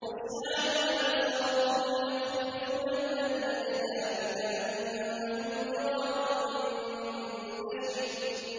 خُشَّعًا أَبْصَارُهُمْ يَخْرُجُونَ مِنَ الْأَجْدَاثِ كَأَنَّهُمْ جَرَادٌ مُّنتَشِرٌ